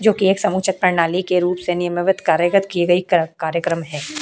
जो कि एक समुच्यक प्रणाली के रूप से निमवर्त कार्यगत की गयी क्र कार्यक्रम है --